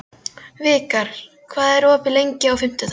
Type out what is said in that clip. Vikar, hvað er opið lengi á fimmtudaginn?